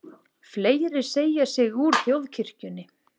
Fleiri segja sig úr þjóðkirkjunni